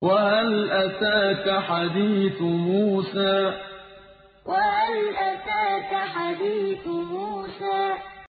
وَهَلْ أَتَاكَ حَدِيثُ مُوسَىٰ وَهَلْ أَتَاكَ حَدِيثُ مُوسَىٰ